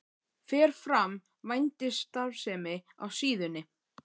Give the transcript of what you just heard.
Fer fram vændisstarfsemi á síðunni?